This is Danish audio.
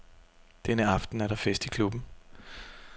Denne aften er der fest i klubben.